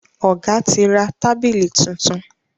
ọgá tí ra tábìlì títún.